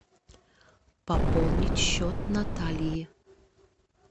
пополнить счет натальи